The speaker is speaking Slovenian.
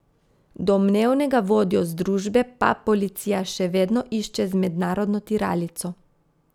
Domnevnega vodjo združbe pa policija še vedno išče z mednarodno tiralico.